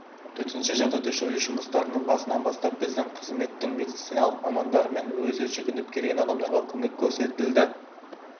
төтенше жағдайды жою жұмыстарының басынан бастап біздің қызметтің медициналық мамандарымен өзі жүгініп келген адамдарға көмек көрсетілді